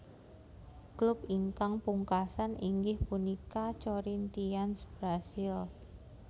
Klub ingkang pungkasan inggih punika Corinthians Brasil